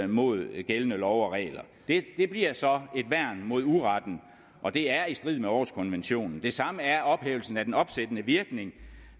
mod gældende love og regler det bliver så et værn mod uretten og det er i strid med århuskonventionen det samme er ophævelsen af den opsættende virkning